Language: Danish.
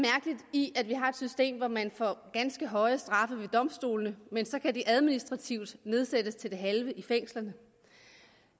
i at vi har et system hvor man får ganske høje straffe ved domstolene men så kan de administrativt nedsættes til det halve i fængslerne